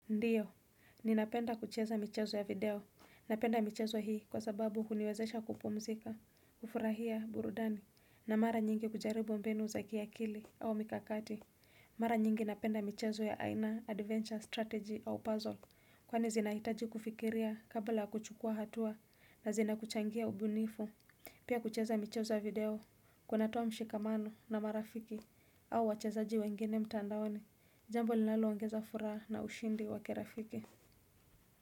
Ndiyo, ninapenda kucheza michezo ya video, napenda michezo hii kwa sababu huniwezesha kupumzika, kufurahia burudani, na mara nyingi kujaribu mbinu za kiakili au mikakati. Mara nyingi napenda michezo ya aina adventure Strategy au puzzle, kwani zinahitaji kufikiria kabla ya kuchukua hatua, na zinakuchangia ubunifu. Pia kucheza michezo video, kuna toa mshikamano na marafiki au wachezaji wengine mtandaoni, jambo linalo ongeza furaha na ushindi wakirafiki.